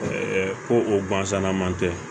ko o gansan man tɛ